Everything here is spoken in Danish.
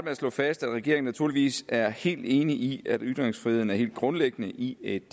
at slå fast at regeringen naturligvis er helt enig i at ytringsfriheden er helt grundlæggende i et